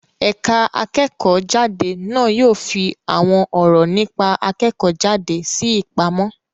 Ẹ̀ka akẹ́kọ̀ọ́-jáde na yóò fi àwọn ọ̀rọ̀ nípa akẹ́kọ̀ọ́-jáde sí ìpamọ́.